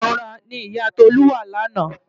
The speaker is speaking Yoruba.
Ìrora ni ìyá Tolú wà lánàá.